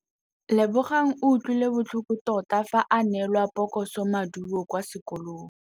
Lebogang o utlwile botlhoko tota fa a neelwa phokotsômaduô kwa sekolong.